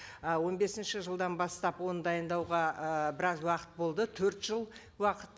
ы он бесінші жылдан бастап оны дайындауға ы біраз уақыт болды төрт жыл уақыт